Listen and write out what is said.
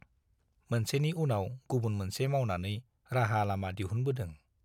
मोनसेनि उनाव गुबुन मोनसे मावनानै राहा लामा दिहुनबोदों।